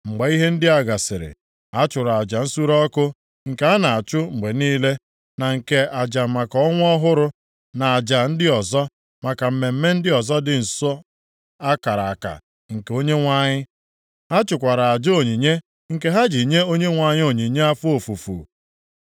Mgbe ihe ndị a gasịrị, ha chụrụ aja nsure ọkụ nke a na-achụ mgbe niile, na nke aja maka ọnwa ọhụrụ, na aja ndị ọzọ maka mmemme ndị ọzọ dị nsọ a kara aka nke Onyenwe anyị. Ha chụkwara aja onyinye nke ha ji nye Onyenwe anyị onyinye afọ ofufu.